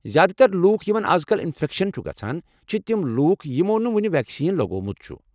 زیٛادٕ تر لوٗکھ یمن از کل انفیکشن چھُ گژھان چھِ تِم لوٗکھ یمو نہٕ وُنہ ویکسیٖن لگوٚومت چھُ ۔